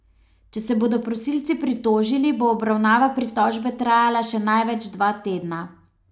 Če se bodo prosilci pritožili, bo obravnava pritožbe trajala še največ dva tedna.